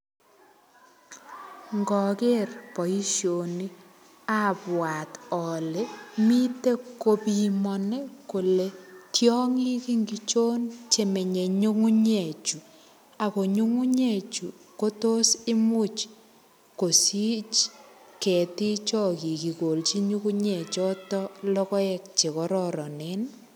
Ngoger boisioni abwat ale mito kopimani kole tiongik ingichon chemenye nyungunyechu? Ago nyungunyechu kotos imuch kosich ketiikcho kigolchi nyungunye choto logoek che kororinen ?